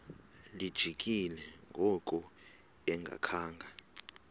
lijikile ngoku engakhanga